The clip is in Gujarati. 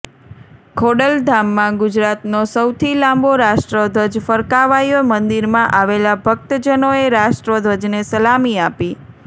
ખોડલધામમાં ગુજરાતનો સૌથી લાંબો રાષ્ટ્રધ્વજ ફરકાવાયો મંદિરમાં આવેલા ભક્તજનોએ રાષ્ટ્રધ્વજને સલામી આપી